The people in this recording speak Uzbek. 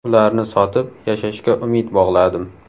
Ularni sotib, yashashga umid bog‘ladim.